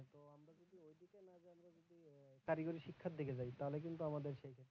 কারিগরি শিক্ষার দিকে যদি যাই তাহলে কিন্তু আমাদের,